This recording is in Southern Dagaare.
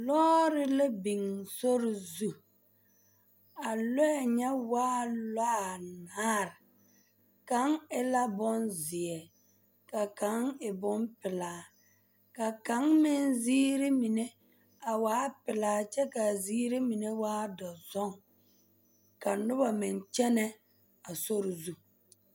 Lɔɔre la biŋ sori zu a lɔɛ nya waa lɔɛ anaare kaŋ e la boŋ zeɛ ka kaŋ e bompelaa ka kaŋ meŋ ziiri mine a waa pelaa kyɛ ka a ziiri mine meŋ waa boŋ dɔzɔŋ ka noba meŋ kyɛnɛ a sori zu.